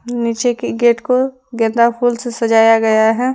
निचे की गेट को गेंदा फूल से सजाया गया है।